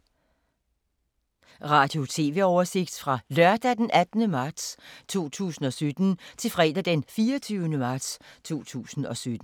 Radio/TV oversigt fra lørdag d. 18. marts 2017 til fredag d. 24. marts 2017